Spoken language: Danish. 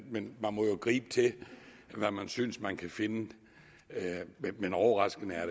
men man må jo gribe til hvad man synes man kan finde overraskende er